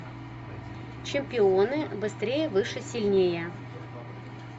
чемпионы быстрее выше сильнее